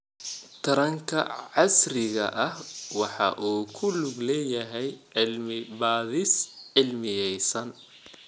Taranka casriga ahi waxa uu ku lug leeyahay cilmi-baadhis cilmiyaysan.